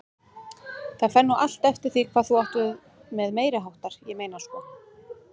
Það fer nú allt eftir því hvað þú átt við með meiriháttar, ég meina sko.